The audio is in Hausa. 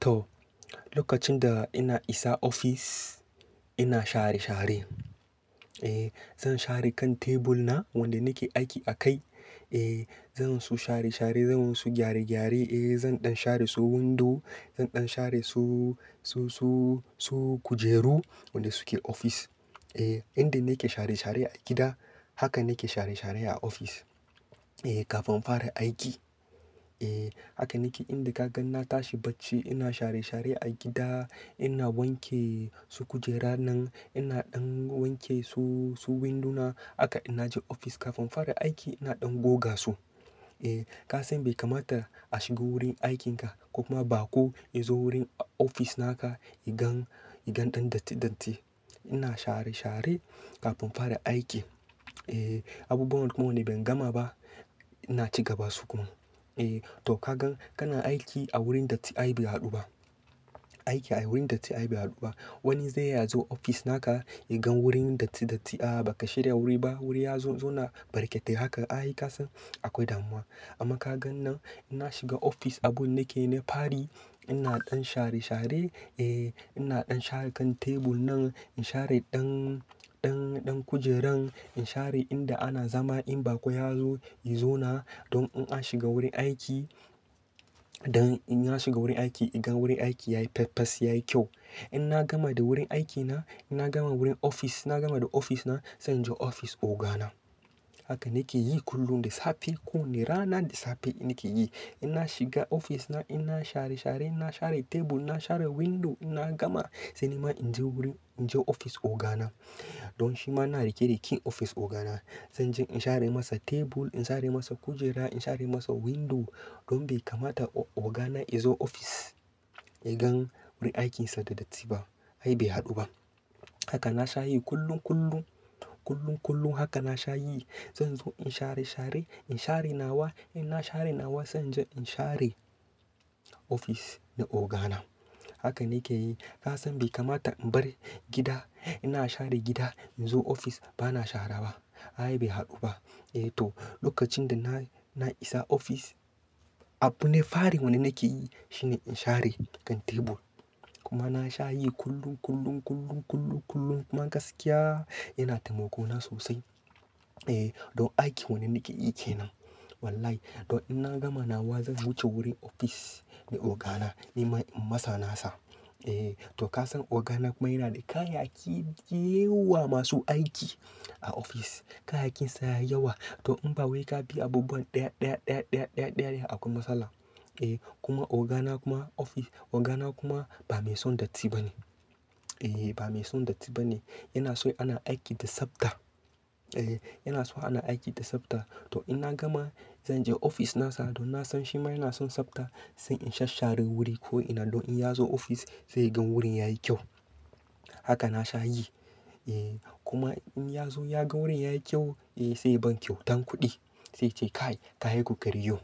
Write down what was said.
To, lokacin da ina isa ofis ina share share. Eh, zan share kan tebul na wanda nake aiki a kai. Eh, zan su share share, zan su gyare gyare. Eh, zan ɗan share su windo, zan ɗan share su, su, su, su kujeru wanda suke ofis. Eh, inda nake share share a gida haka nake share share a ofis. Eh, kafin fara aiki. Eh, haka nake inda ka gan na tashi bacci ina share share a gida, ina wanke su kujera nan, ina ɗan wanke su, su windu na. Haka ina je ofis kafin fara aiki ina ɗan goga su. Eh, ka san bai kamata a shiga wurin aikinka ko kuma bako ya zo wurin ofis naka yagan, yagan ɗan datti datti. Ina share share kafin fara aiki. Eh, abubuwan da kuma wanda ban gama ba ina ci gaba su kuma. Eh to ka gan kana aiki a wurin datti ai bai haɗu ba. Aiki a wurin datti ai bai haɗu ba. Wani zai iya zo ofis na ka ya gan wurin datti datti. Aa baka share wuri ba. Wani ya zo, ya zauna barketai. Haka ai ka san akwai damuwa. Amma ka gan nan ina shiga ofis abun da na ke na fari. Ina ɗan share share. Eh, ina ɗan share kan tebul nan, in share ɗan, ɗan, ɗan kujeran. In share inda ana zama in bako ya zo, ya zauna don in an shiga wurin aiki, don in an shiga wurin aiki ya gan wurin aiki yayi pess pess, yayi kyau. In na gama da wurin aiki na, ina gama wurin ofis. In na gama da ofis na sai in je ofis oga na. Haka nake yi kullum, da safe. Ko wane rana da safe na ke yi. In na shiga ofis na in na yi share share, in na share tebul, na share window in na gama, sai nima in je wurin, in je ofis oga na. Don shima ina rike da kin ofis oga na. Zan je in share masa tebul, in share masa kujera, in share masa windo don bai kamata oga na ya zo ofis ya gan wurin aikinsa da datti ba. Ai bai haɗu ba. Haka na sha yi kullum, kullum, kullum, kullum. Haka na sha yi. Zan zo in share share, in share nawa ina share nawa zan je in share ofis na oga na. Haka nake yi. Ka san bai kamata in bar gida ina share gida in zo ofis ba na shara ba. Ai bai haɗu ba. Eh to, lokacin da na, na isa ofis abu na fari wanda na ke yi shine in share kan tebul. Kuma na sha yi kullum, kullum, kullum, kullum, kullum. Kuma gaskiya yana taimako na sosai. Eh, don aiki wanda nake yi ke nan. Wallahi to in na gama nawa zan wuce wurin ofis na oga na, nima in masa na sa. Eh to ka san oga na kuma yana da kayayyaki da yawa masu aiki a ofis. Kayyakinsa yayi yawa. To in ba wai ka bi abubuwan ɗaya, ɗaya, ɗaya, ɗaya, ɗaya akwai matsala. Eh kuma oga na kuma ofis, oga na kuma ba mai son datti ba ne. Eh ba mai son datti ba ne. Yana so ana aiki da tsabta. Eh, yana so ana aiki da tsabta. To in na gama zan je ofis na sa don na san shi ma yana son tsabta. Sai in shashshare wuri ko'ina don in ya zo ofis zai gan wurin yayi kyau. Haka na sha yi. Eh kuma in ya zo ya gan wurin yayi kyau, eh zai ban kyautan kuɗi. Sai ce "Kai, ka yi ku kokari yau."